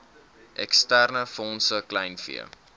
eksterne fondse kleinvee